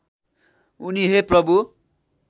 उनी हे प्रभु